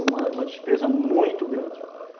Uma uma despesa muito grande.